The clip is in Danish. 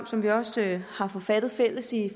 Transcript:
som vi også har forfattet fælles i